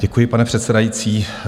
Děkuji, pane předsedající.